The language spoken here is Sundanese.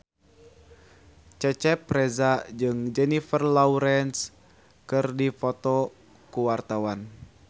Cecep Reza jeung Jennifer Lawrence keur dipoto ku wartawan